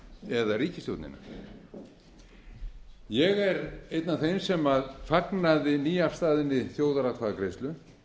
icesave eða ríkisstjórnina ég er einn af þeim sem fagnaði nýafstaðinni þjóðaratkvæðagreiðslu